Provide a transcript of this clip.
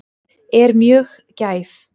Er mjög gæf.